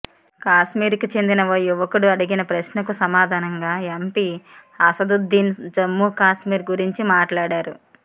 కాశ్మీరుకు చెందిన ఓ యువకుడు అడిగిన ప్రశ్నకు సమాధానంగా ఎంపి అసదుద్దీన్ జమ్మూకశ్మీర్ గురించి మాట్లాడారు